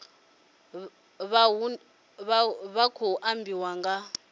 vha hu khou ambiwa nga